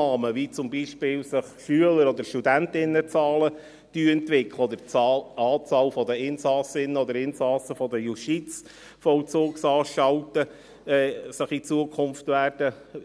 Annahmen, wie sich zum Beispiel Schülerinnen- und Schülerzahlen oder Studenten- und Studentinnenzahlen entwickeln, oder wie sich in Zukunft die Anzahl der Insassinnen und Insassen der Justizvollzugsanstalten